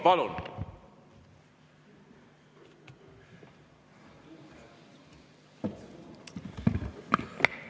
Palun!